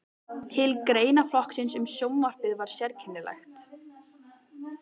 Tilefni greinaflokksins um sjónvarpið var sérkennilegt.